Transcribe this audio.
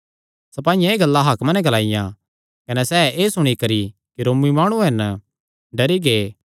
सपाईयां एह़ गल्लां हाकमा नैं ग्लाईयां कने सैह़ एह़ सुणी करी कि रोमी माणु हन डरी गै